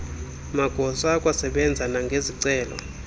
magosa akwasebenza nangezicelo